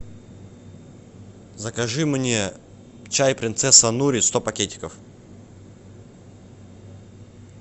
закажи мне чай принцесса нури сто пакетиков